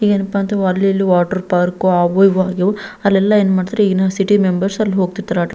ಏನಪ್ಪಾ ಅಂತ ಅಲ್ಲಿ ಇಲ್ಲಿ ವಾಟರ್ ಪಾರ್ಕ್ ಅವು ಇವು ಅಗ್ಯವು ಅಲ್ಲೆಲ್ಲ ಯೂನಿವರ್ಸಿಟಿ ಮೆಂಬರ್ಸ್ ಅಲ್ಲಿ ಹೋಗ್ತಿರ್ತರ.